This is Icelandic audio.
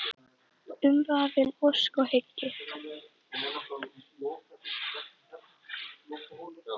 Umvafin ósk og hyggju.